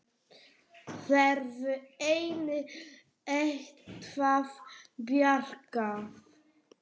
Verður henni eitthvað bjargað?